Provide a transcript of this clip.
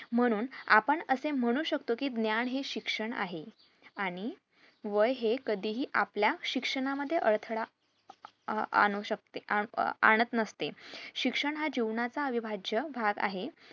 म्हणून आपण असे म्हणू शकतो कि ज्ञान हे शिक्षण आहे आणि वय हे कधीही आपल्या शिक्षणा मध्ये अडथळा अह आणू शकते अह आणत नसते शिक्षण हा जीवनाचा अविभाज्य भाग आहे